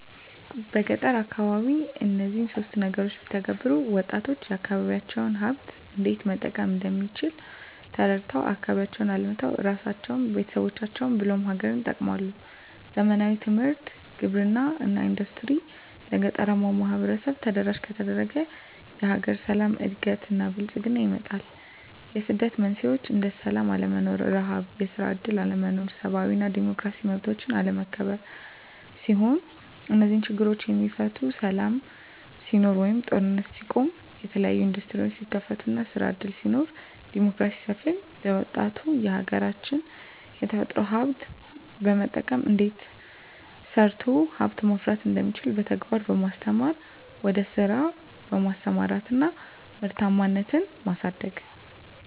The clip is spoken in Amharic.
በገጠር አካባቢ እነዚህን ሶስት ነገሮች ቢተገበሩ -ወጣቶች የአካባቢዎቻቸውን ሀብት እንዴት መጠቀም እንደሚችል ተረድተው አካባቢያቸውን አልምተው እራሳቸውን፤ ቤተሰቦቻቸውን ብሎም ሀገርን ይጠቅማሉ። ዘመናዊ ትምህርት፤ ግብርና እና ኢንዱስትሪዎች ለገጠራማው ማህበረሰብ ተደራሽ ከተደረገ የሀገር ሰላም፤ እድገት እና ብልፅግና ይመጣል። የስደት መንስኤዎች እንደ ስላም አለመኖር፤ ርሀብ፤ የስራ እድል አለመኖር፤ ሰብአዊ እና ዲሞክራሲያዊ መብቶች አለመከበር ሲሆኑ -እነዚህ ችግሮች የሚፈቱት ሰላም ሲኖር ወይም ጦርነት ሲቆም፤ የተለያዬ እንዱስትሪዎች ሲከፈቱ እና ስራ እድል ሲኖር፤ ዲሞክራሲ ሲሰፍን፤ ለወጣቱ የሀገራች የተፈጥሮ ሀብት በመጠቀም እንዴት ተሰርቶ ሀብት ማፍራት እንደሚቻል በተግባር በማስተማር ወደ ስራ በማሰማራት እና ምርታማነትን ማሳደግ።